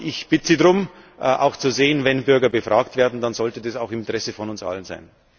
Aber ich bitte Sie darum, auch zu sehen Wenn Bürger befragt werden, dann sollte das auch im Interesse von uns allen sein.